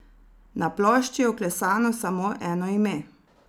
Na plošči je vklesano samo eno ime.